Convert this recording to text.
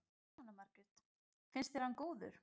Jóhanna Margrét: Finnst þér hann góður?